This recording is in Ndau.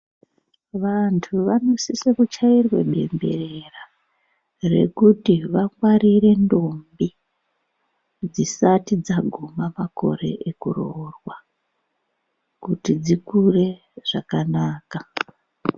Vantu vanosise kuchairwe bembera rekuti vangwarire ntombi dzisati dzaguma makore ekuroorwa kuti dzikure zvakanaka.